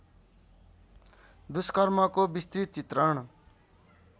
दुष्कर्मको विस्तृत चित्रण